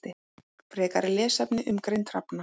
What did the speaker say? Frekari lesefni um greind hrafna